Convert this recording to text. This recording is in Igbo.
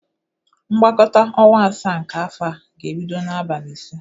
Mgbakọta ọnwa asaa nke afọ a ga-ebido n'abali ise.